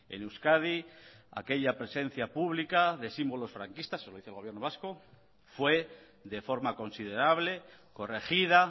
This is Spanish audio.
en euskadi aquella presencia pública de símbolos franquistas lo dice el gobierno vasco fue de forma considerable corregida